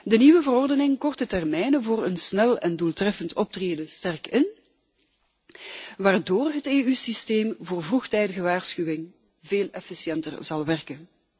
De nieuwe richtlijn kort de termijnen voor een snel en doeltreffend optreden sterk in waardoor het EU-systeem voor vroegtijdige waarschuwing veel efficiënter zal werken.